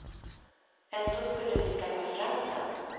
Ändå skulle vi skaffa fram den.